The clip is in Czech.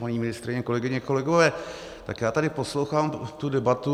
Paní ministryně, kolegyně, kolegové, tak já tady poslouchám tu debatu.